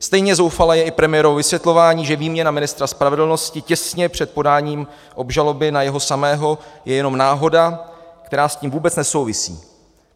Stejně zoufalé je i premiérovo vysvětlování, že výměna ministra spravedlnosti těsně před podáním obžaloby na jeho samého je jenom náhoda, která s tím vůbec nesouvisí.